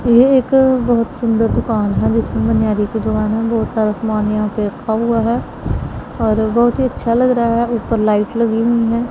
ये एक बहुत सुंदर दुकान है जिसमें मन्नरी की दुकान है। बहुत सारा सामान यह पर रखा हुआ है। और बहुत ही अच्छा लग रहा है ऊपर लाइट लगी हुई है।